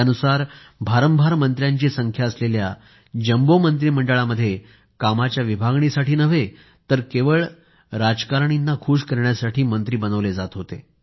त्यानुसार भारंभार मंत्र्यांची संख्या असलेल्या जम्बो मंत्रिमंडळामध्ये कामाच्या विभागणीसाठी नाही तर केवळ राजकारण्यांना खुश करण्यासाठी मंत्री बनवले जात होते